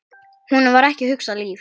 Honum var ekki hugað líf.